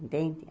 Entende?